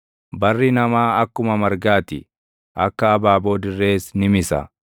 Barri namaa akkuma margaa ti; akka abaaboo dirrees ni misa;